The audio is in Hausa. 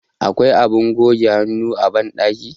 akwai abin goge hannu a bandaki